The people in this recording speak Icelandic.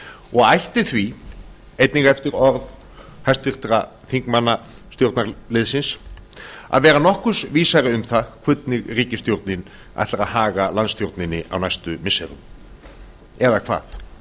og ætti því einnig eftir orð hæstvirts þingmanna stjórnarliðsins að vera nokkurs vísari um það hvernig ríkisstjórnin ætlar að haga landsstjórninni á næstu missirum eða hvað